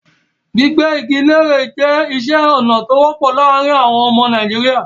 Gbígbẹ́ igi léèrè jẹ́ iṣẹ́ ọnà tó wọ́pọ̀ láàárin àwọn àwọn ọmọ Nàìjíríà.